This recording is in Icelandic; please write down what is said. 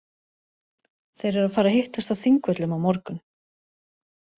Þeir eru að fara að hittast á Þingvöllum á morgun.